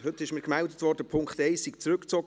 Heute wurde mir gemeldet, Punkt 1 sei zurückgezogen.